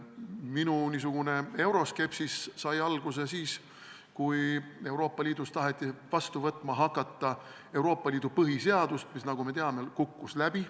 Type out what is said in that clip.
Minu euroskepsis sai alguse siis, kui Euroopa Liidus taheti hakata vastu võtma Euroopa Liidu põhiseadust, mis, nagu me teame, kukkus läbi.